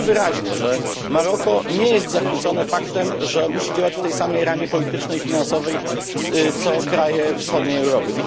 Widzimy wyraźnie, że Maroko nie jest zachwycone faktem, że musi działać w tej samej ramie politycznej i finansowej, co kraje wschodniej Europy.